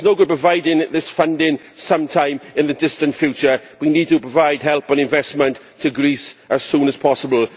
It is no good providing this funding sometime in the distant future we need to provide help and investment to Greece as soon as possible.